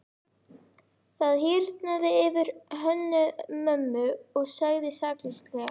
Það hýrnaði yfir Hönnu-Mömmu og hún sagði sakleysislega: